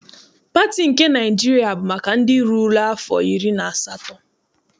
Pati nke Naịjiria bụ maka ndị rurula afọ iri na asatọ.